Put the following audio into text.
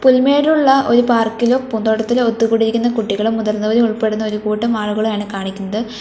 പുൽമേടുള്ള ഒരു പാർക്കിലോ പൂന്തോട്ടത്തിലോ ഒത്തുകൂടിയിരിക്കുന്ന കുട്ടികളും മുതിർന്നവരും ഉൾപ്പെടുന്ന ഒരുകൂട്ടം ആളുകളെയാണ് കാണിക്കിണ്ത്.